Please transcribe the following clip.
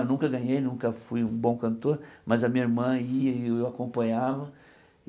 Eu nunca ganhei, nunca fui um bom cantor, mas a minha irmã ia e eu acompanhava.